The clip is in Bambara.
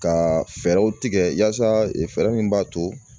Ka fɛɛrɛw tigɛ yasa fɛɛrɛ min b'a to